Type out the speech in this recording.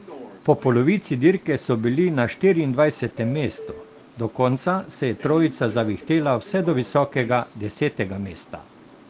Po polovici dirke so bili na štiriindvajsetem mestu, do konca se je trojica zavihtela vse do visokega desetega mesta.